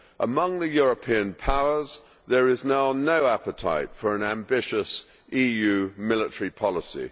Among the European powers there is now no appetite for an ambitious EU military policy.